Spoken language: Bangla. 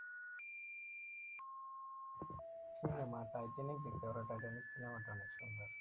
টাইটানিক দেখতে পারো, টাইটানিক cinema টা অনেক সুন্দর